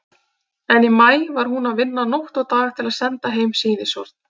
En í maí er hún að vinna nótt og dag til að senda heim sýnishorn.